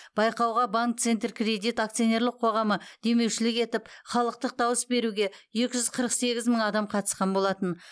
байқауға банкцентркредит акционерлік қоғамы демеушілік етіп халықтық дауыс беруге екі жүз қырық сегіз мың адам қатысқан болатын